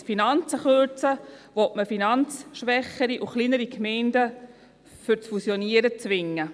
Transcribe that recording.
Indem man die Finanzen kürzt, will man finanzschwächere und kleinere Gemeinden zum Fusionieren zwingen.